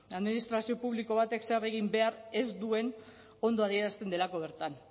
administrazio publiko batek zer egin behar ez duen ondo adierazten delako bertan